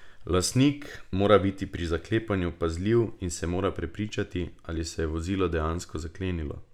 Lastnik mora biti pri zaklepanju pazljiv in se mora prepričati, ali se je vozilo dejansko zaklenilo.